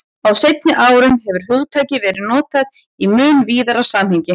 Á seinni árum hefur hugtakið verið notað í mun víðara samhengi.